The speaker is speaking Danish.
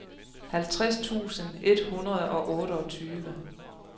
halvtreds tusind et hundrede og otteogtyve